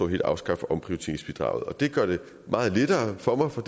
helt at afskaffe omprioriteringsbidraget det gør det meget lettere for mig for